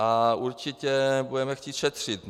A určitě budeme chtít šetřit.